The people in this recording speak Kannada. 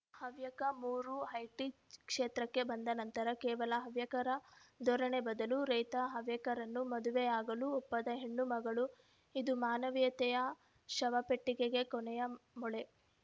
ಹವ್ಯಕ ಮೂರು ಐಟಿ ಕ್ಷೇತ್ರಕ್ಕೆ ಬಂದ ನಂತರ ಕೇವಲ ಹವ್ಯಕರ ಧೋರಣೆ ಬದಲು ರೈತ ಹವ್ಯಕರನ್ನು ಮದುವೆಯಾಗಲು ಒಪ್ಪದ ಹೆಣ್ಣುಮಕ್ಕಳು ಇದು ಮಾನವೀಯತೆಯ ಶವಪೆಟ್ಟಿಗೆಗೆ ಕೊನೆಯ ಮೊಳೆ